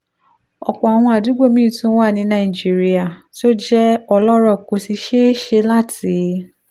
ọ̀pọ̀ àwọn àdúgbò míì tún wà ní nàìjíríà tó jẹ́ ọlọ́rọ̀ kò sì ṣeé ṣe láti